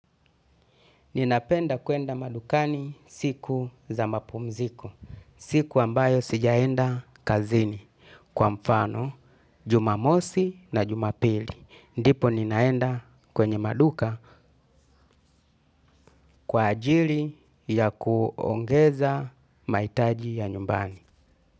Ninapenda kuenda madukani siku za mapumziko, siku ambayo sijaenda kazini kwa mfano, jumamosi na jumapili. Ndipo ninaenda kwenye maduka kwa ajili ya kuongeza mahitaji ya nyumbani.